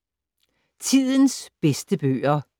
Tidens bedste bøger